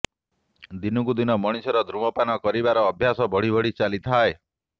ଦିନକୁ ଦିନ ମଣିଷର ଧୂମପାନ କରିବାର ଅଭ୍ୟାସ ବଢ଼ି ବଢ଼ି ଚାଲିଥାଏ